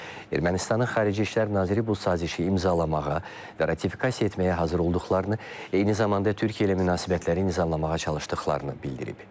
Ermənistanın xarici İşlər naziri bu sazişi imzalamağa və ratifikasiya etməyə hazır olduqlarını, eyni zamanda Türkiyə ilə münasibətləri nizamlamağa çalışdıqlarını bildirib.